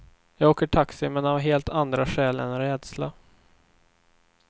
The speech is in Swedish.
Jag åker taxi, men av helt andra skäl än rädsla.